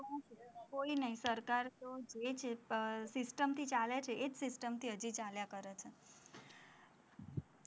કોઈ નઈ સરકાર તો જે છે system થી ચાલે છે, એ જ system થી હજી ચાલ્યા કરે છે,